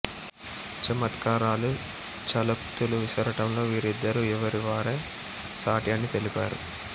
చమత్కారాలు ఛలోక్తులు విసరటంలో వీరిద్దరూ ఎవరివారే సాటి అని తెలిపారు